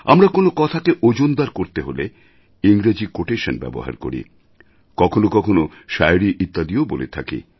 আমরা কোনও কথাকে ওজনদার করতে হলে ইংরাজি কোটেশন ব্যবহার করি কখনও কখনও শায়রী ইত্যাদিও বলে থাকি